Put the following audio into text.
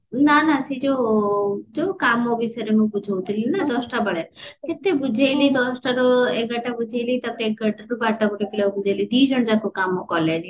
ନା ନା ସେଇ ଯଉ କାମ ବିଷୟରେ ମୁଁ ବୁଝାଉଥିଲି ନା ଦଶଟା ବେଳେ କେତେ ବୁଝେଇଲି ଦଶଟାରୁ ଏଗାରଟା ବୁଝେଇଲି ତାପରେ ଏଗାରଟାରୁ ବାରଟା ଗୋଟେ ପିଲାକୁ ବୁଝେଇଲି ଦିଜଣ ଯାକ କାମ କଲେନି ସବୁ